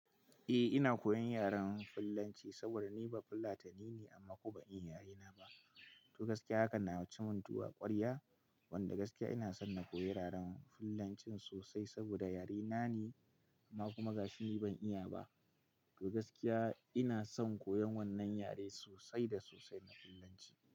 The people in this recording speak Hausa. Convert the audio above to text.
Eh ina koyan yaren Fullanci saboda ni ba Fullatani ne amma kuma ban iya yarena ba. To gaskiya haka na ci mun tuwa a ƙwarya wanda gaskiya ina son na koyi yaren Fulanci sosai saboda yare na ne amma kuma gashi ni ban iya ba. To gaskiya ina son koyan wannan yare sosai da sosai na Fulanci.